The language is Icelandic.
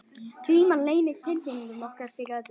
Gríman leynir tilfinningum okkar fyrir öðrum.